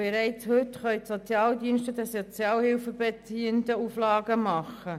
Bereits heute können die Sozialdienste den Sozialhilfebeziehenden Auflagen machen.